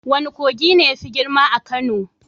Wane kogi ne yafi girma a Kano?